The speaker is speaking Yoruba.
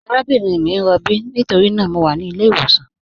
Àràbìnrin mi n rọ̀bí nítorína mọ̀ wà ní ilẹ̀-ìwọsàn.